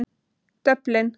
Dublin